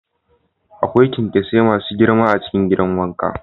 Akwai kyankyasai masu girma a cikin gidan wanka.